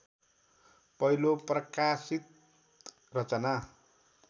पहिलो प्रकाशित रचना